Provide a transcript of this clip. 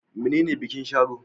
Menene bikin Sharo?